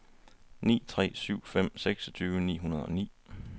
ni tre syv fem seksogtyve ni hundrede og ni